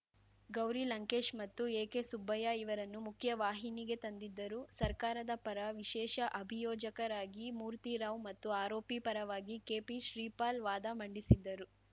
ಗೌರಿ ಲಂಕೇಶ್‌ ಮತ್ತು ಎಕೆಸುಬ್ಬಯ್ಯ ಇವರನ್ನು ಮುಖ್ಯವಾಹಿನಿಗೆ ತಂದಿದ್ದರು ಸರ್ಕಾರದ ಪರ ವಿಶೇಷ ಅಭಿಯೋಜಕರಾಗಿ ಮೂರ್ತಿ ರಾವ್‌ ಮತ್ತು ಆರೋಪಿ ಪರವಾಗಿ ಕೆಪಿ ಶ್ರೀಪಾಲ್‌ ವಾದ ಮಂಡಿಸಿದ್ದರು